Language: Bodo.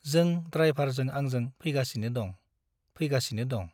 जों द्राइभारजों आंजों फैगासिनो दं , फैगासिनो दं ।